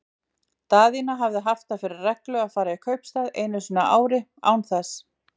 Daðína haft það fyrir reglu að fara í kaupstað einu sinni á ári, án þess